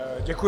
Děkuji.